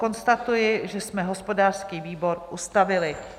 Konstatuji, že jsme hospodářský výbor ustavili.